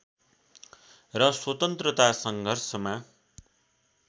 र स्‍वतन्त्रता सङ्घर्षमा